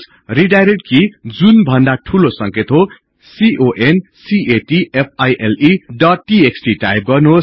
redirect कि जुन भन्दा ठूलो संकेत हो कन्क्याटफाइल डोट टीएक्सटी टाइप गर्नुहोस्